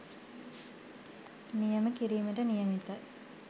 නියම කිරීමට නියමිතයි.